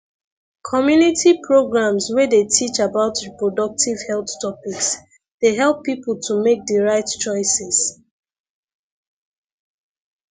community programs wey dey teach about reproductive health topics dey help people to make di right choices